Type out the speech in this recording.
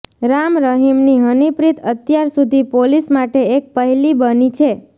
રામ રહીમની હનીપ્રીત અત્યાર સુધી પોલીસ માટે એક પહેલી બની છે